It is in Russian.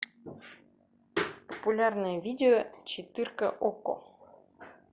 популярное видео четырка окко